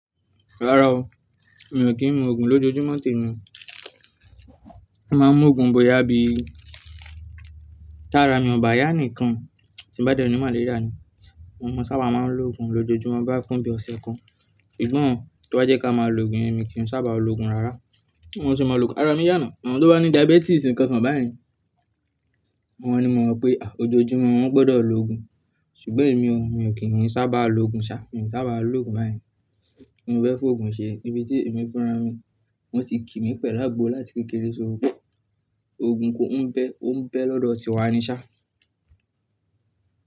Rárá o, mi ò kí ń mu òògùn lójoojúmọ́ tèmi. Mo máa ń mu òògùn bóyá bí tá ara mi o ba yá nnkan tí bá dẹ ní màléríà ni. Mo sábà máa ń lo òògùn lójoojúmọ́ bo ya fún bí ọ̀sẹ̀ kan. Ìgbọ́n tí wọ́n jẹ́ ká máa lo òògùn yẹn mi kì í sábà lo òògùn rárá. Wọn sì máa lo òògùn, ara mi yà na. Àwọn tó bá ní diabetes nìkan kan báyen. Wọ́n ni mo mọ̀ pé à lójoojúmọ́ wọ́n gbọdọ̀ lo òògùn. Ṣùgbọ́n èmi o, mi ò kí ń sábà lo òògùn ṣá, mi ò sábà lo òògùn bá yen. Mo fẹ́ fòògùn ṣe níbi tí èmi fúnra mi wọ́n ti kí mi pẹ̀lú àgbo láti kékeré ṣó. Òògùn kò ń pẹ́, ó ń pẹ́ lọ́dọ̀ tiwa ni ṣá.